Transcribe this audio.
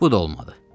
Bu da olmadı.